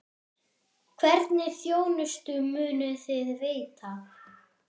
Hvernig þjónustu munuð þið veita?